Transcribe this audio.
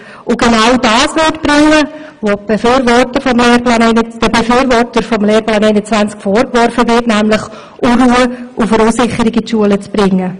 Sie würde genau das bewirken, was den Befürwortern des Lehrplans 21 vorgeworfen wird, nämlich Unruhe und Verunsicherung in die Schulen zu bringen.